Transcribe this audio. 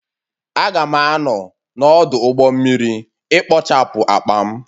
Aga'm a-anọ n'ọdụ ụgbọ mmiri ikpochapụ akpa m